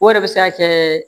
O yɛrɛ bɛ se ka kɛ